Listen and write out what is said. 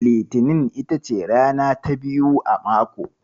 Litinin ita ce rana ta biyu a mako.